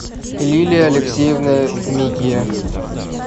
лилия алексеевна микия